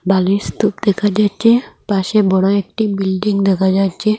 বালির স্তূপ দেখা যাচ্ছে পাশে বড় একটি বিল্ডিং দেখা যাচ্ছে।